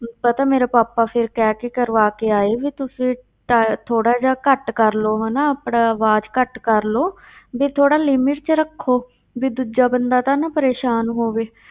ਪਤਾ ਮੇਰੇ ਪਾਪਾ ਫਿਰ ਕਹਿਕੇ ਕਰਵਾਕੇ ਆਏ ਵੀ ਤੁਸੀਂ ਟੈ~ ਥੋੜ੍ਹਾ ਜਿਹਾ ਘੱਟ ਕਰ ਲਓ ਹਨਾ, ਆਪਣਾ ਆਵਾਜ਼ ਘੱਟ ਕਰ ਲਓ ਵੀ ਥੋੜ੍ਹਾ limit ਵਿੱਚ ਰੱਖੋ, ਵੀ ਦੂਜਾ ਬੰਦਾ ਤਾਂ ਨਾ ਪਰੇਸ਼ਾਨ ਹੋਵੇ,